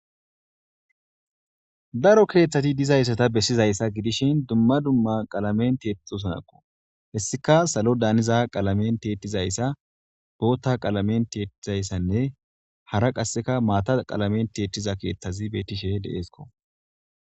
daro keeththati dizayssata bessizayssa gidishin dumma dumma qalamen teetixusanakko hessika salo daaniza qalamen teettizayssa bootta qalamen teettizayssanne hara qasseka maata qalamen teettiza keeththazi beettishe deeesko